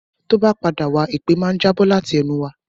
Tó bá padà wá, èpè máa ń jábọ̀ láti ẹnu wa